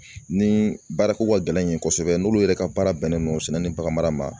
Ni baarako ka gɛlɛn n yen kosɛbɛ n'olu yɛrɛ ka baara bɛnnen don baganmara ma